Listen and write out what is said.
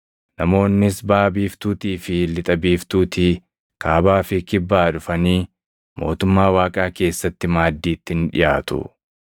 Namoonnis baʼa biiftuutii fi lixa biiftuutii, kaabaa fi kibbaa dhufanii mootummaa Waaqaa keessatti maaddiitti ni dhiʼaatu.